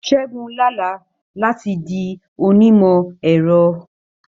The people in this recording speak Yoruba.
Ṣẹ́gun lá àlá láti di onímọ̀-ẹ̀rọ.